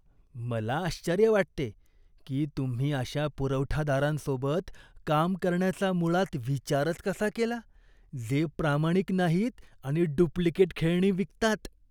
मला आश्चर्य वाटते की तुम्ही अशा पुरवठादारांसोबत काम करण्याचा मुळात विचारच कसा केला, जे प्रामाणिक नाहीत आणि डुप्लिकेट खेळणी विकतात.